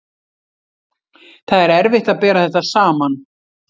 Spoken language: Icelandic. Það er erfitt að bera þetta saman.